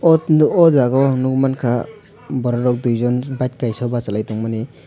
o tino o jaga o ang nogmangkha brokorok duijon bike kaisa basalai tongmani.